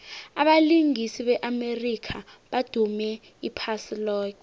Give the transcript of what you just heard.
abalingisi be amerika badume iphasi loke